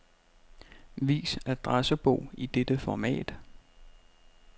Vis adressebog i dette format.